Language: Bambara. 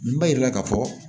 Nin b'a yira k'a fɔ